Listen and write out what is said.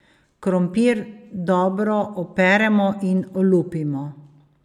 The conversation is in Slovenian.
Krompir dobro operemo in olupimo.